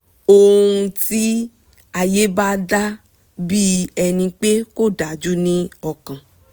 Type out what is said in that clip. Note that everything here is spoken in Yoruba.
óun tí ayé bá dà bí ẹni pé kò dájú ní ọkàn